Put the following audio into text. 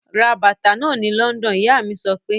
Ra bàtà náà ni London! Ìyá mí sọ pé.